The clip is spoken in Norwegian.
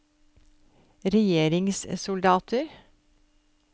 regjeringssoldater